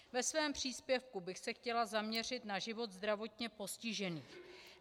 Ve svém příspěvku bych se chtěla zaměřit na život zdravotně postižených.